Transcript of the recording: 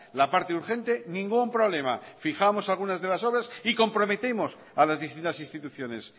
la parte urgente ningún problema fijamos algunas de las obras y comprometemos a las distintas instituciones